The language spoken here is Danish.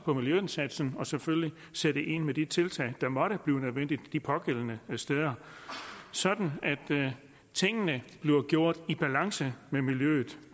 på miljøindsatsen og selvfølgelig sætte ind med de tiltag der måtte blive nødvendige de pågældende steder sådan at tingene bliver gjort i balance med miljøet